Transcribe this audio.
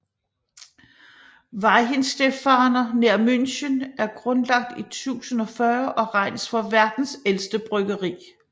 Weihenstephaner nær München er grundlagt i 1040 og regnes for verdens ældste bryggeri